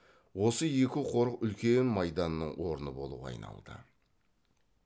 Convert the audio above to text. осы екі қорық үлкен майданның орны болуға айналды